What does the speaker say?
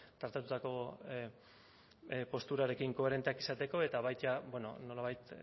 tratatutako posturarekin koherenteak izateko eta baita nolabait